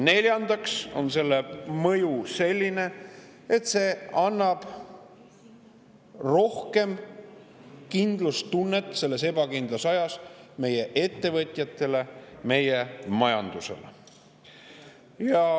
Neljandaks on selle mõju selline, et see annab rohkem kindlustunnet selles ebakindlas ajas meie ettevõtjatele ja meie majandusele.